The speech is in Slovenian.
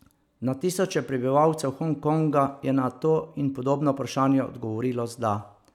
Na tisoče prebivalcev Hong Konga je na to in podobna vprašanja odgovorilo z da.